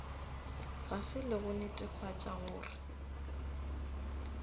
fase le go netefatša gore